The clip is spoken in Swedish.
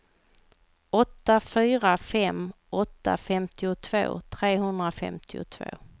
åtta fyra fem åtta femtiotvå trehundrafemtiotvå